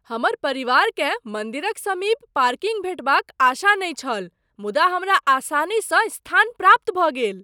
हमर परिवारकेँ मन्दिरक समीप पार्किंग भेंटबाक आशा नहि छल मुदा हमरा आसानीसँ स्थान प्राप्त भऽ गेल।